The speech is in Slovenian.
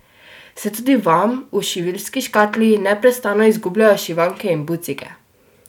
Se tudi vam v šiviljski škatli neprestano izgubljajo šivanke in bucike?